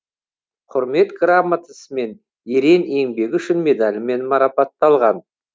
құрмет грамотасымен ерен еңбегі үшін медалімен марапатталған